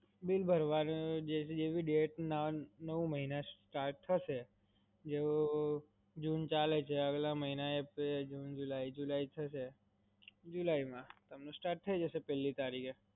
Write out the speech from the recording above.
bill ભરવાની જેવી date ના નવ મહિના start થશે, જેમ June ચાલે છે આગલા મહિના April June July થશે. July માં તમને start થય જસે પેલ્લી તારીખે.